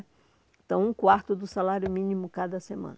Então, um quarto do salário mínimo cada semana.